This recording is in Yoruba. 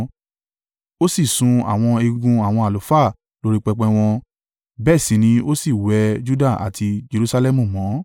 Ó sì sun àwọn egungun àwọn àlùfáà lórí pẹpẹ wọn, bẹ́ẹ̀ sì ni ó sì wẹ Juda àti Jerusalẹmu mọ́.